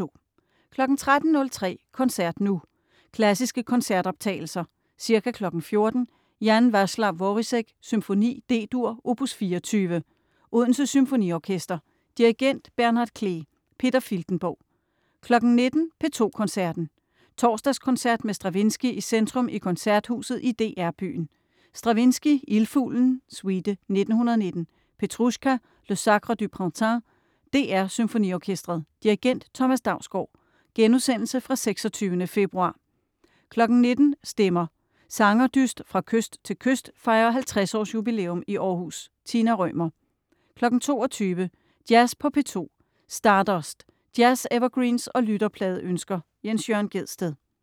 13.03 Koncert nu. Klassiske koncertoptagelser. Ca. 14.00 Jan Vaclav Vorisek: Symfoni, D-dur, opus 24. Odense Symfoniorkester. Dirigent: Bernhard Klee. Peter Filtenborg. 19.00 P2 Koncerten. Torsdagskoncert med Stravinsky i centrum i Koncerthuset i DR byen. Stravinsky: Ildfuglen, suite (1919), Petrusjka, Le Sacre du Printemps. DR SymfoniOrkestret. Dirigent: Thomas Dausgaard. (Genudsendelse fra 26. februar). 19.00 Stemmer. Sangerdyst fra kyst til kyst fejrer 50-års-jubilæum i Århus. Tina Rømer. 22.00 Jazz på P2. Stardust. Jazz-evergreens og lytterpladeønsker. Jens Jørn Gjedsted